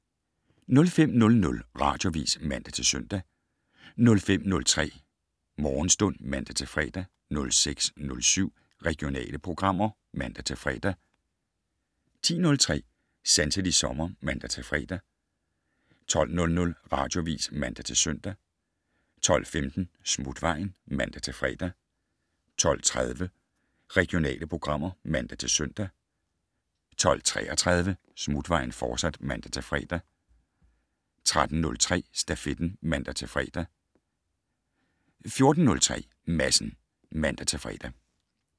05:00: Radioavis (man-søn) 05:03: Morgenstund (man-fre) 06:07: Regionale programmer (man-fre) 10:03: Sanselig sommer (man-fre) 12:00: Radioavis (man-søn) 12:15: Smutvejen (man-fre) 12:30: Regionale programmer (man-søn) 12:33: Smutvejen, fortsat (man-fre) 13:03: Stafetten (man-fre) 14:03: Madsen (man-fre)